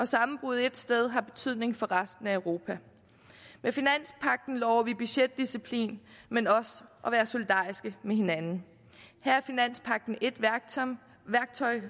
sammenbrud ét sted har det betydning for resten af europa med finanspagten lover vi budgetdisciplin men også at være solidariske med hinanden her er finanspagten et værktøj